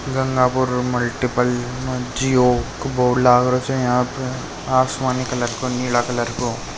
मल्टीपल जिओ का बोर्ड लगरो छे यहां पर आसमानि कलर नीला कलर को।